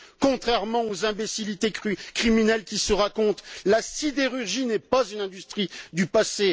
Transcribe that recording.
Contrairement aux imbécillités criminelles qui se racontent, la sidérurgie n'est pas une industrie du passé